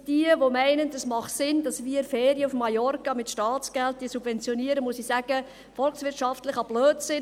Wer meint, es mache Sinn, dass wir Ferien auf Mallorca mit Staatsgeldern subventionieren, muss ich sagen: volkswirtschaftlicher Blödsinn.